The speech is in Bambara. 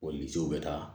O misiw bɛ taa